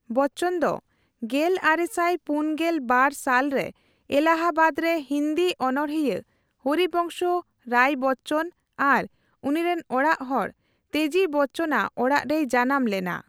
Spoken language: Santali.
ᱵᱚᱪᱪᱚᱱ ᱫᱚ ᱜᱮᱞᱟᱨᱮᱥᱟᱭ ᱯᱩᱱᱜᱮᱞ ᱵᱟᱨ ᱥᱟᱞ ᱨᱮ ᱮᱞᱟᱦᱟᱵᱟᱫ ᱨᱮ ᱦᱤᱱᱫᱤ ᱚᱱᱚᱲᱦᱤᱭᱟᱹ ᱦᱚᱨᱤᱵᱝᱥᱚ ᱨᱟᱤ ᱵᱚᱪᱪᱚᱱ ᱟᱨ ᱩᱱᱤᱨᱮᱱ ᱚᱲᱟᱠ ᱦᱚᱲ ᱛᱮᱡᱤ ᱵᱚᱪᱪᱚᱱᱼᱟᱜ ᱚᱲᱟᱺ ᱨᱮᱭ ᱡᱟᱱᱟᱢ ᱞᱮᱱᱟ ᱾